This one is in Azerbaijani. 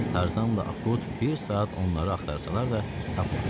Tarzanla Akut bir saat onları axtarsalar da tapmadılar.